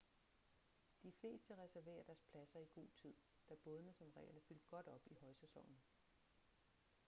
de fleste reserverer deres pladser i god tid da bådene som regel er fyldt godt op i højsæsonen